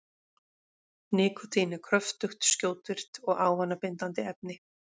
Nikótín er kröftugt, skjótvirkt og ávanabindandi efni.